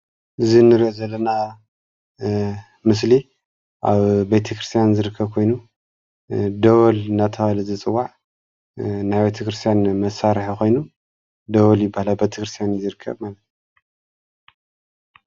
እዚ እንሪኦ ዘለና ምስሊ ኣብ ቤተ ክርስትያን ዝርከብ ኮይኑ ደወል እንዳ ተብሃለ ዝፅዋዕ ናይ ቤተ ክርስትያን መሥርሒ ኮይኑ ደወል ይብሃል። ኣብ ቤተ ክርስትያን እዮ ዝረከብ ማለት እዮ።